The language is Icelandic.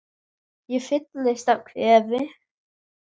Ég fyllist af kvefi.